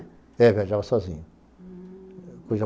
É, viajava sozinha. Hm